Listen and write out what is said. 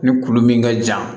Ni kulu min ka jan